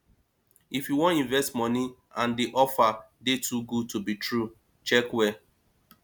if you wan invest money and di offer dey too good to be true check well